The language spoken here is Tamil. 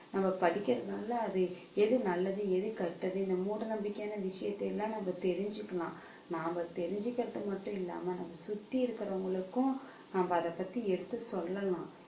நம்ம படிக்கிறதினால அது எது நல்லது எது கெட்டது இந்த மூட நம்பிக்கையான விஷயத்தை எல்லாம் நம்ம தெரிஞ்சுக்கலாம் நாம தெரிஞ்சுக்கிறது மட்டும் இல்லாம நம்ம சுத்தி இருக்கிறவங்களுக்கும் நம்ம அதைப் பத்தி எடுத்துச் சொல்லலாம்